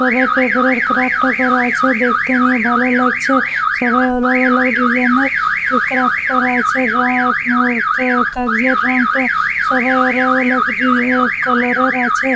সবার পেপারে ক্রাফ্ট করা আছে দেখতে নিয়ে ভালো লাগছে । সবার আলাগ আলাগ ডিজাইন - এর ক্রাফ্ট করা আছে। রঙ আ কাগজের রঙ তো সবার আরেক আরে কালার -এর আছে।